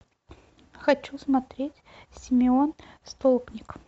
хочу смотреть симеон столпник